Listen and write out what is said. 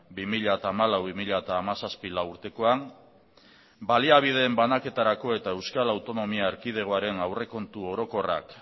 bi mila hamalau bi mila hamazazpi lau urtekoan baliabideen banaketarako eta euskal autonomia erkidegoaren aurrekontu orokorrak